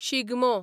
Shigmo